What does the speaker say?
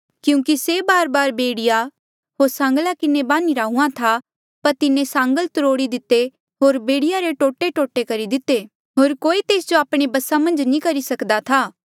क्यूंकि से बारबार बेड़िया होर सांगला किन्हें बान्हीरा हुंहां था पर तिन्हें सांगल त्रोड़ी दिते होर बेड़िया रे टोटेटोटे करी दिते होर कोई तेस जो आपणे बसा मन्झ नी करी सक्दा था